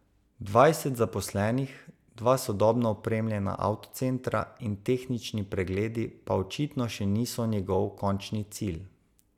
Dvajset zaposlenih, dva sodobno opremljena avtocentra in tehnični pregledi pa očitno še niso njegov končni cilj.